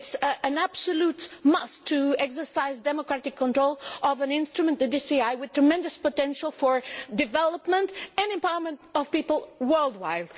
it is an absolute must to exercise democratic control of an instrument the DCI with tremendous potential for development and empowerment of people worldwide.